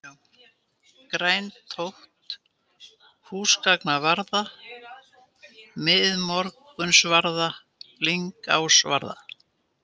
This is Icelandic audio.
Grænatótt, Húsgangsvarða, Miðmorgunsvarða, Lyngásvarða